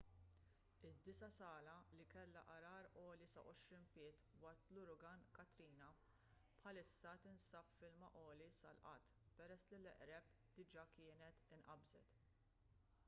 id-disa' sala li kellha għargħar għoli sa 20 pied waqt l-uragan katrina bħalissa tinsab f'ilma għoli sal-qadd peress li l-eqreb diga kienet inqabżet